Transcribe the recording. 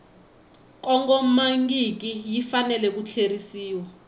kongomangiki yi fanele ku tlheriseriwa